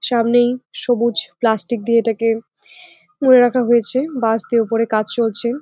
সামনেই সবুজ প্লাষ্টিক দিয়ে এটাকে মুড়ে রাখা হয়েছে বাঁশ দিয়ে ওপরে কাজ চলছে।